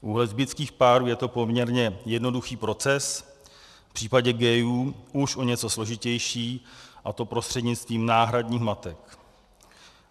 U lesbických párů je to poměrně jednoduchý proces, v případě gayů už o něco složitější, a to prostřednictvím náhradních matek.